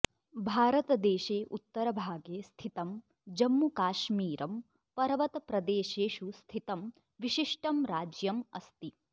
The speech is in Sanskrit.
भारतदेशे उत्तरभागे स्थितं जम्मुकाश्मीरं पर्वतप्रदेशेषु स्थितं विशिष्टं राज्यमस्ति